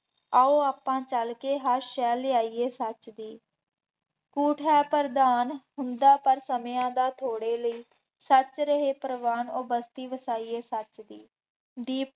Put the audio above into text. ਆਉ ਆਪਾਂ ਚੱਲ ਕੇ ਹਰ ਸ਼ਹਿ ਲਿਆਈਏ ਸੱਚ ਦੀ, ਝੂਠ ਹੈ ਪ੍ਰਧਾਨ ਹੁੰਦਾ ਪਰ ਸਮਿਆਂ ਦਾ ਥੋੜ੍ਹੇ ਲਈ, ਸੱਚ ਰਹੇ ਪ੍ਰਵਾਨ ਉਹ ਬਸਤੀ ਵਸਾਈਏ ਸੱਚ ਦੀ, ਦੀਪ